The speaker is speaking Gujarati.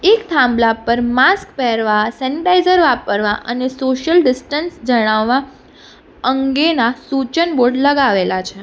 એક થાંભલા પર માસ્ક પહેરવા સેનિટાઇઝર વાપરવા અને સોશિયલ ડિસ્ટન્સ જણાવવા અંગેના સૂચન બોર્ડ લગાવેલા છે.